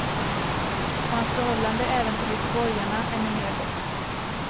Och hans förhållande även till göteborgarna är numera gott.